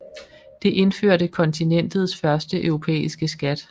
Det indførte kontinentets første europæiske skat